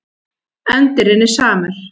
Endirinn er samur.